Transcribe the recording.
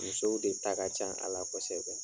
Musow de ta ka can a la kosɛbɛ.